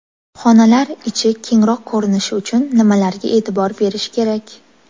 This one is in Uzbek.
Xonalar ichi kengroq ko‘rinishi uchun nimalarga e’tibor berish kerak?.